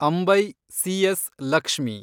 Ambai , C S. Lakshmi